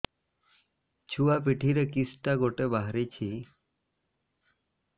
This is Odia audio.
ଛୁଆ ପିଠିରେ କିଶଟା ଗୋଟେ ବାହାରିଛି